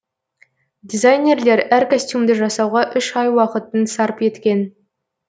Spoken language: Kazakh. дизайнерлер әр костюмды жасауға үш ай уақытын сарп еткен